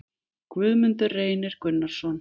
Guðmundur Reynir Gunnarsson